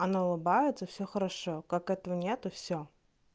она улыбается всё хорошо как этого нет всё